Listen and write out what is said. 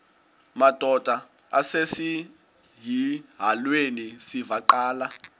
madod asesihialweni sivaqal